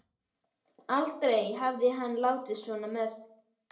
Aldrei hafði hann látið svona með